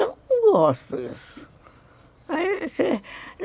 Ah, eu não gosto disso. Aí você